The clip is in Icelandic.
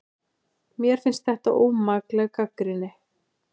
Mér finnst þetta ómakleg gagnrýni